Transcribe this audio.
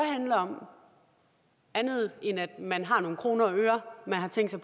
andet end man har nogle kroner og øre man har tænkt sig